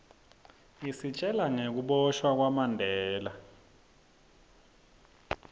isitjela nagekuboshwa kwamandela